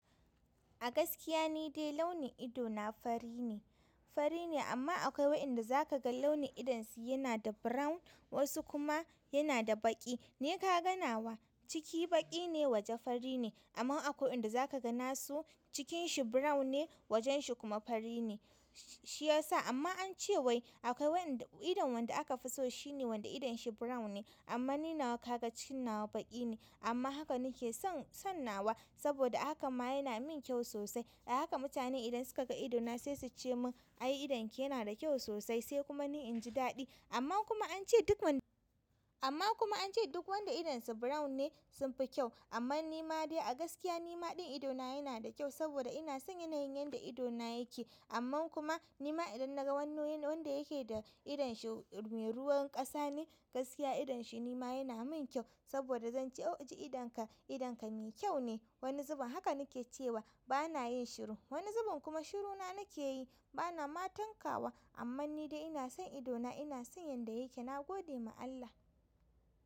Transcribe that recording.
A gaskiya ne dai launin ido na fari ne, fari ne amma akwai wa'inda za ka ga launin idonsu yana da brown wasu kuma yana da baƙi. Ne ka ganawa ciki baƙi ne waje fari ne, amma akwai wa'inda za ka ganawa cikin shi brown ne wajen shi kuma fari ne shiyasa amma an ce wai akwai wanda idon wanda aka fi so shine wanda idon shi brown ne. Amma ni nawa ka ga cikin na wa baƙi ne amma haka nake son-sonnawa saboda haka ma yana min kyau sosai. Da haka mutane idan suka ga ido na sai suce min "ai idon ki yana da kyau sosai" sai kuma ni in ji daɗi amma kuma ance duk. Amma kuma an ce duk wanda idon sa brown ne sun fi kyau amma nima dai a gaskiya nima ɗin ido na yana da kyau saboda ina son yanayin yanda ido na yake. Amma kuma nima idan naga wani wanda yake da idon shi mai ruwan ƙasa ne gaskiya idon shi nima yana min kyau saboda zan ce "o ji idon ka, idon ka mai kyau ne." Wani zubin haka nake cewa bana yin shiru, wani zubin kuma shiru na nake yi bana ma tankawa. Amma ni dai ina son ido na ina son yanda yake na gode ma Allah.